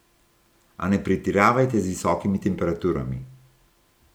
A ne pretiravajte z visokimi temperaturami.